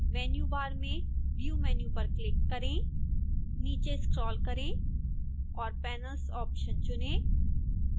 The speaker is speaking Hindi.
menu bar में view मैन्यू पर क्लिक करें नीचे स्क्रोल करें और panels ऑप्शन चुनें